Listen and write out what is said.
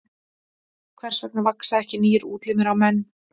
Hvers vegna vaxa ekki nýir útlimir á menn?